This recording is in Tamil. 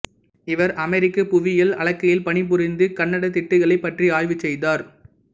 இவர் அமெரிக்க புவியியல் அளக்கையில் பணிபுரிந்து கண்டத்திட்டுகளைப் பற்றி ஆய்வு செய்தார்